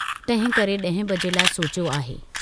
तहिंकरे ड्हें बजे लाइ सोचियो आहे